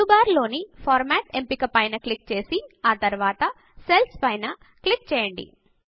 menu bar లోని format ఎంపిక పైన క్లిక్ చేసి ఆ తరువాత సెల్స్ పైన క్లిక్ చేయండి